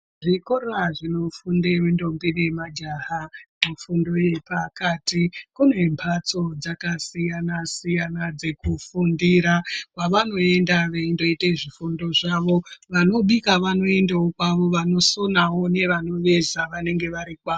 Zvikora zvinofunda ndombi nemajaya pafundo yepakati kune mhatso dzakasiyana-siyana, dzekufundira kwavanoenda vainoita zvifundo zvavo vanobika vanoendavo kwavo, nevanosonavo ,ne vanoveza vanenge varikwavo.